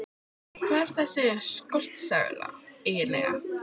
Hvað er þessi skortsala eiginlega?